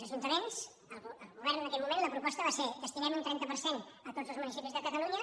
al govern en aquell moment la proposta va ser destinem un trenta per cent a tots els municipis de catalunya